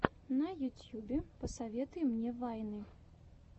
на ютьюбе посоветуй мне вайны